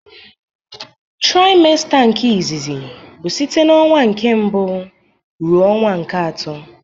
Traịmsta nke izizi bụ site n'ọnwa nke mbụ ruo ọnwa nke atọ.